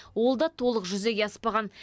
ол да толық жүзеге аспаған